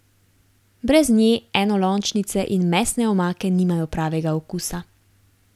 Brez nje enolončnice in mesne omake nimajo pravega okusa.